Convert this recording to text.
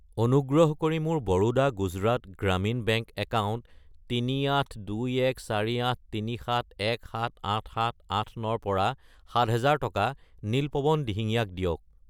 অনুগ্ৰহ কৰি মোৰ বৰোডা গুজৰাট গ্ৰামীণ বেংক একাউণ্ট 38214837178789 ৰ পৰা 7000 টকা নীলপৱন দিহিঙীয়া ক দিয়ক।